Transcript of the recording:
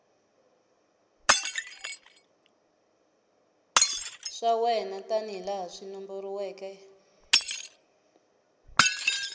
swa wena tanihilaha swi nomboriweke